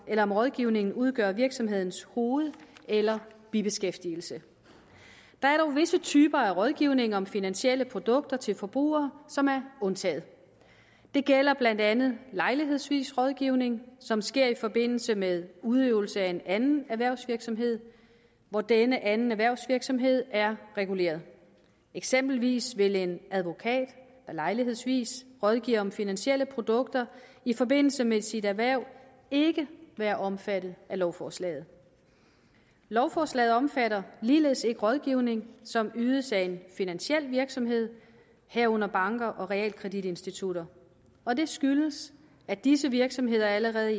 om rådgivningen udgør virksomhedens hoved eller bibeskæftigelse der er dog visse typer af rådgivning om finansielle produkter til forbrugere som er undtaget det gælder blandt andet lejlighedsvis rådgivning som sker i forbindelse med udøvelse af en anden erhvervsvirksomhed hvor denne anden erhvervsvirksomhed er reguleret eksempelvis vil en advokat der lejlighedsvis rådgiver om finansielle produkter i forbindelse med sit erhverv ikke være omfattet af lovforslaget lovforslaget omfatter ligeledes ikke rådgivning som ydes af en finansiel virksomhed herunder banker og realkreditinstitutter og det skyldes at disse virksomheder allerede i